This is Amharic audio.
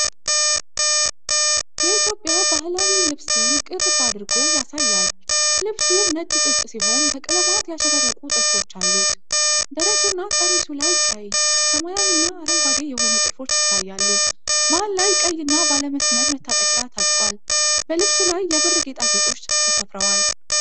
የኢትዮጵያ ባህላዊ ልብስን ቅርብ አድርጎ ያሳያል። ልብሱ ነጭ ጥጥ ሲሆን በቀለማት ያሸበረቁ ጥልፎች አሉት። ደረቱና ቀሚሱ ላይ ቀይ፣ ሰማያዊና አረንጓዴ የሆኑ ጥልፎች ይታያሉ። መሃል ላይ ቀይና ባለ መስመር መታጠቂያ ታጥቋል። በልብሱ ላይ የብር ጌጣጌጦች ተሰፍረዋል።